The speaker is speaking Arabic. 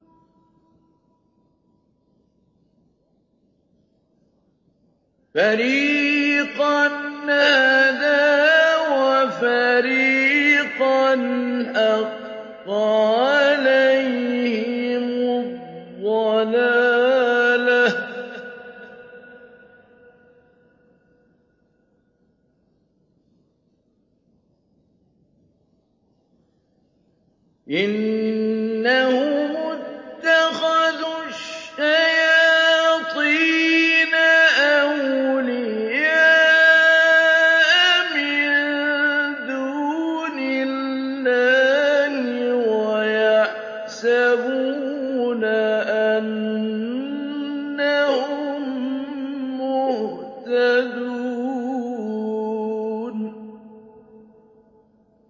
فَرِيقًا هَدَىٰ وَفَرِيقًا حَقَّ عَلَيْهِمُ الضَّلَالَةُ ۗ إِنَّهُمُ اتَّخَذُوا الشَّيَاطِينَ أَوْلِيَاءَ مِن دُونِ اللَّهِ وَيَحْسَبُونَ أَنَّهُم مُّهْتَدُونَ